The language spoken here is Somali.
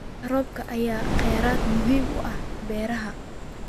Biyaha roobka ayaa ah kheyraad muhiim u ah beeraha.